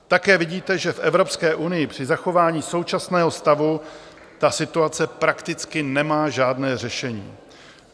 Také vidíte, že v Evropské unii při zachování současného stavu ta situace prakticky nemá žádné řešení.